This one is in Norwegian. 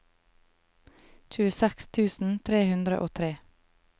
tjueseks tusen tre hundre og tre